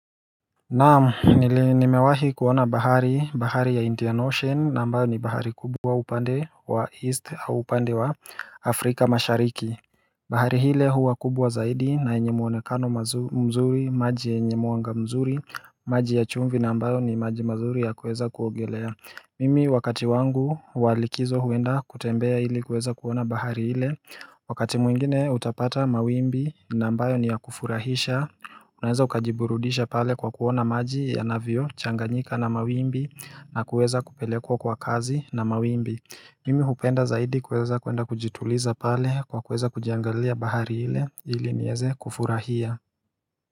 Naam nimewahi kuona bahari bahari ya Indian Ocean ambayo ni bahari kubwa upande wa East au upande wa Afrika mashariki bahari ile huwa kubwa zaidi na yenye muonekano mzuri maji enye mwanga mzuri maji ya chumvi ambayo ni maji mazuri ya kuweza kuogelea Mimi wakati wangu walikizo huenda kutembea hili kuweza kuona bahari ile Wakati mwingine utapata mawimbi ambayo ni ya kufurahisha Unaweza ukajiburudisha pale kwa kuona maji ya navyo changanyika na mawimbi na kueza kupelekwa kwa kasi na mawimbi Mimi hupenda zaidi kuweza kuenda kujituliza pale kwa kueza kuiangalia bahari ile ili niweze kufurahia.